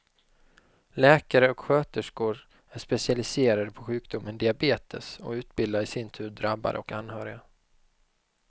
Läkare och sköterskor är specialiserade på sjukdomen diabetes och utbildar i sin tur drabbade och anhöriga.